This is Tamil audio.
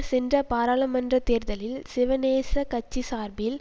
சென்ற பாராளுமன்ற தேர்தலில் சிவனேச கட்சி சார்பில்